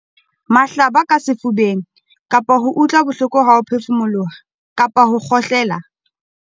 Mahlaba ka sefubeng, kapa ho utlwa bohloko ha o phefumoloha kapa o kgohlela.